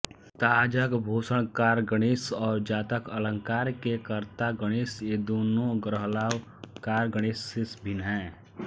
ताजकभूषणकार गणेश और जातकालंकार के कर्ता गणेश ये दोनों ग्रहलाघवकार गणेश से भिन्न हैं